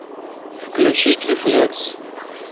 включить рефлекс